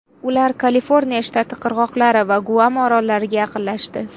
Ular Kaliforniya shtati qirg‘oqlari va Guam orollariga yaqinlashdi.